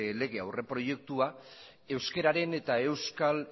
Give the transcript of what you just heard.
legearen aurreproiektua euskararen eta euskal